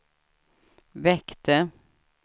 väckte